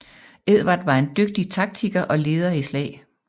Edvard var en dygtig taktikker og leder i slag